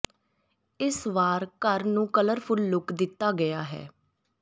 ਇਸ ਵਾਰ ਘਰ ਨੂੰ ਕਲਰਫੁੱਲ ਲੁੱਕ ਦਿੱਤਾ ਗਿਆ ਹੈ